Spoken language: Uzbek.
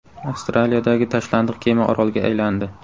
Avstraliyadagi tashlandiq kema orolga aylandi .